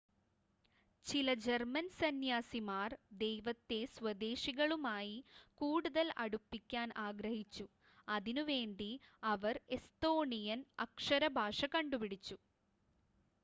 ചില ജർമ്മൻ സന്ന്യാസിമാർ ദൈവത്തെ സ്വദേശികളുമായി കൂടുതൽ അടുപ്പിക്കാൻ ആഗ്രഹിച്ചു അതിനുവേണ്ടി അവർ എസ്തോണിയൻ അക്ഷര ഭാഷ കണ്ടുപിടിച്ചു